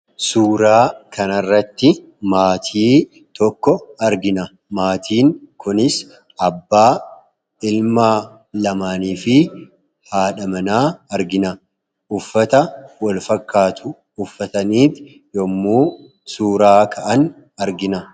Suuraa kan irratti kan argamuu maatii dha. Maatiin kunis abbaa, ijoollee lamaanii fi haadha. Isaanis uffata Wal fakkaatu kan uffatanii jiranii dha.